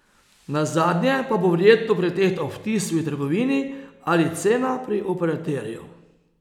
Nazadnje pa bo verjetno pretehtal vtis v trgovini ali cena pri operaterju.